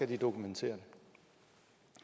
den dokumentere